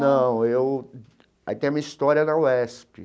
Não, eu... Aí tem uma história na UESP.